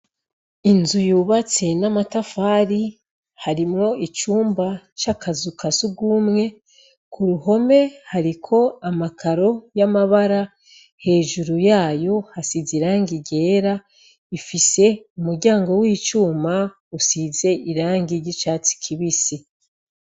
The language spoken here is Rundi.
Inzu yubatse n'amatafari harimwo icumba c'akazu ka sugumwe ku ruhome hariko amakaro y'amabara hejuru yayo hasize irangi ryera ifise umuryango w'icuma usize irangi ry'icatsi kibisi.